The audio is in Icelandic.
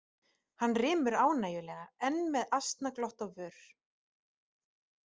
Hann rymur ánægjulega, enn með asnaglott á vör.